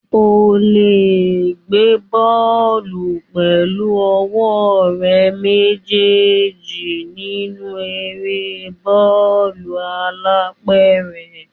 O le gbé bọ́ọ̀lù pẹ̀lú ọwọ́ rẹ méjèèjì nínú eré bọ́ọ̀lù alápẹ̀rẹ̀.